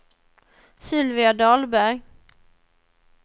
Sylvia Dahlberg